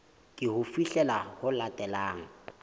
ke ho fihlela ho latelang